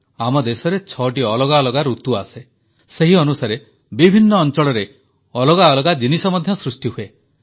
ଆମ ଦେଶରେ ଛଅଟି ଅଲଗା ଅଲଗା ଋତୁ ଆସେ ସେହି ଅନୁସାରେ ବିଭିନ୍ନ ଅଂଚଳରେ ଅଲଗା ଅଲଗା ଜିନିଷ ମଧ୍ୟ ସୃଷ୍ଟି ହୁଏ